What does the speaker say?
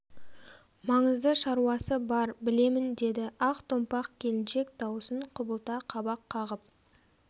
маңызды шаруасы бар білемін деді ақ томпақ келіншек дауысын құбылта қабақ қағып